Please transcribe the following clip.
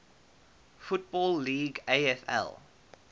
football league afl